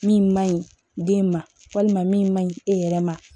Min man ɲi den ma walima min man ɲi e yɛrɛ ma